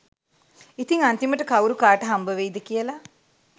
ඉතිං අන්තිමට කවුරු කාට හම්බවෙයි ද කියලා